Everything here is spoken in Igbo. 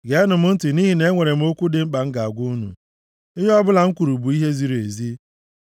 Geenụ m ntị, nʼihi na enwere m okwu dị mkpa m ga-agwa unu; Ihe ọbụla m kwuru bụ ihe ziri ezi,